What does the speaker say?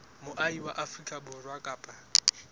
moahi wa afrika borwa kapa